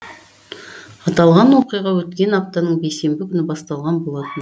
аталған оқиға өткен аптаның бейсенбі күні басталған болатын